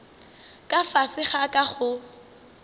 ka fase ga ka go